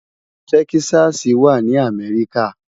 Tèkìsàsí wá ni Amèriká